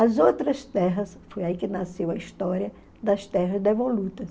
As outras terras, foi aí que nasceu a história das terras devolutas.